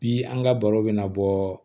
Bi an ka baro bɛna bɔ